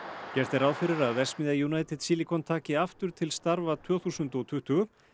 gert er ráð fyrir að verksmiðja United Silicon taki aftur til starfa tvö þúsund og tuttugu